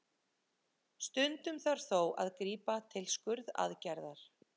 Stundum þarf þó að grípa til skurðaðgerðar.